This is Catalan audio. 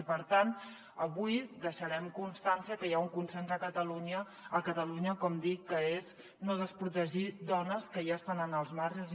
i per tant avui deixarem constància que hi ha un consens a catalunya com dic que és no desprotegir dones que ja estan en els marges